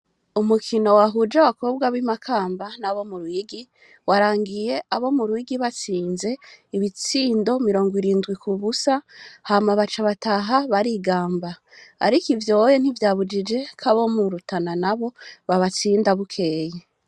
Umukino wahuje abakobwa b'imakamba n'abo mu rwigi warangiye abo mu rwigi batsinze ibitsindo mirongo irindwi ku busa hamabaca bataha barigamba, ariko ivyoye ntivyabujije ko abo murutana na bo babatsinda bukeye.